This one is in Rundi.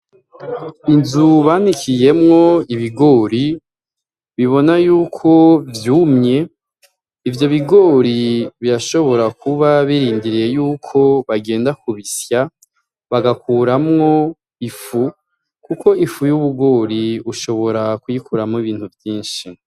Inzu banikiyemwo ibigori ubona yuko vyumye ,ivyo bigori birashobora kuba birindiriye yuko bagenda kubisya, bagakuramwo ifu, kuko ifu y'ubugori ushobora kuyikoramwo ibintu vyinshi.